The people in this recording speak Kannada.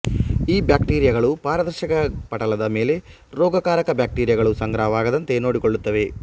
ಈ ಬ್ಯಾಕ್ಟೀರಿಯಗಳು ಪಾರದರ್ಶಕ ಪಟಲದ ಮೇಲೆ ರೋಗಕಾರಕ ಬ್ಯಾಕ್ಟೀರಿಯಗಳು ಸಂಗ್ರಹವಾಗದಂತೆ ನೋಡಿಕೊಳ್ಳುತ್ತವೆ